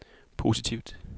positivt